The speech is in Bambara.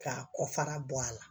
K'a kɔ fara bɔ a la